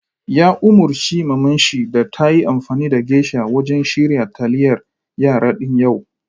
Ya umurci mamanshi da tayi amfani da geisha wajen shirya taliyar yara din yau!